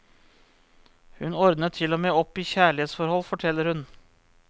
Hun ordnet til og med opp i kjærlighetsforhold, forteller hun.